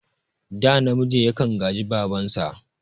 Ɗa namiji yakan gaji babansa